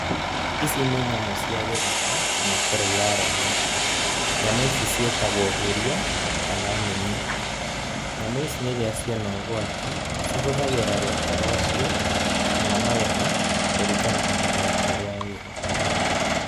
Ici ni nyamũ cia gĩthaka, na nĩ kũrĩa irarĩa nyeki. Nyamũ ici ciĩtagwo huria, kana mũnyi. Nyamũ ici rĩrĩa ciona ũgũati, cihũthagira rũhĩa rwacio, kana magego, kũringana na ũgwati ũrĩa wĩ ho.